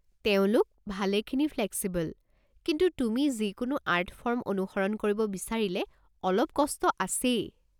তেওঁলোক ভালেখিনি ফ্লেক্সিবল, কিন্তু তুমি যিকোনো আৰ্ট ফৰ্ম অনুসৰণ কৰিব বিচাৰিলে অলপ কষ্ট আছেই।